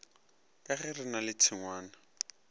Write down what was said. ka gere na le tšhengwana